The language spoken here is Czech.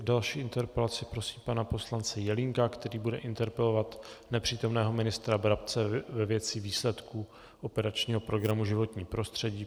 K další interpelaci prosím pana poslance Jelínka, který bude interpelovat nepřítomného ministra Brabce ve věci výsledků operačního programu Životní prostředí.